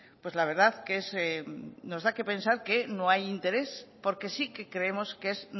pues la verdad que nos da qué pensar que no hay interés porque sí que creemos que es